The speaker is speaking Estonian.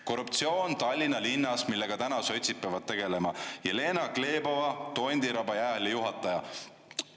Korruptsioon Tallinna linnas, millega täna sotsid peavad tegelema – Jelena Glebova, Tondiraba jäähalli juhataja.